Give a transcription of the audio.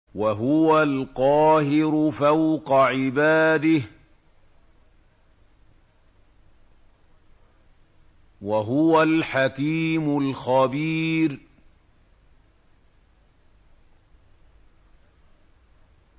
وَهُوَ الْقَاهِرُ فَوْقَ عِبَادِهِ ۚ وَهُوَ الْحَكِيمُ الْخَبِيرُ